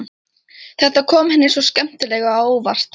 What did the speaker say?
Þetta kom henni svo skemmtilega á óvart.